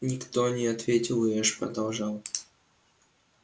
никто не ответил и эш продолжал